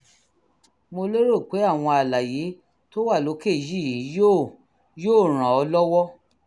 mo lérò pé àwọn àlàyé tó wà lókè yìí yóò yóò ràn ọ́ lọ́wọ́